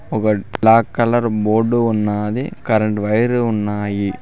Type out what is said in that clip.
ఒక black colour board ఉన్నది current wire ఉన్నాయి.